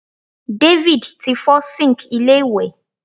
David ti fo sink ilé iwe